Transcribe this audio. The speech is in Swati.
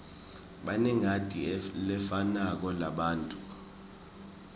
banengati lefanako labantfu